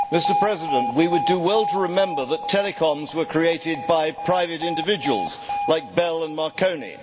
Mr President, we would do well to remember that telecoms were created by private individuals like Bell and Marconi.